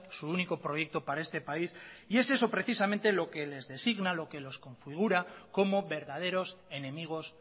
su único proyecto para este país y es eso precisamente lo que les designa lo que los configura como verdaderos enemigos